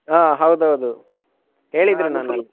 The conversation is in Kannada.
ಹಾ ಹೌದೌದು ಹೇಳಿದ್ರು ನನ್ಗೆ.